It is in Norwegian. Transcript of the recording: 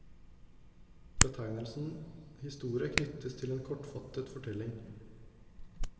Betegnelsen historie knyttes til en kortfattet fortelling.